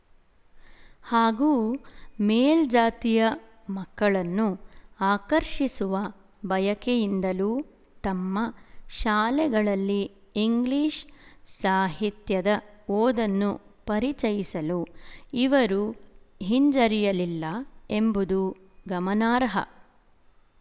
ಹಾಗೂ ಮೇಲ್ಜಾತಿಯ ಮಕ್ಕಳನ್ನು ಆಕರ್ಶಿಸಿಸುವ ಬಯಕೆಯಿಂದಲೂ ತಮ್ಮ ಶಾಲೆಗಳಲ್ಲಿ ಇಂಗ್ಲಿಶು ಸಾಹಿತ್ಯದ ಓದನ್ನು ಪರಿಚಯಿಸಲು ಇವರು ಹಿಂಜರಿಯಲಿಲ್ಲ ಎಂಬುದು ಗಮನಾರ್ಹ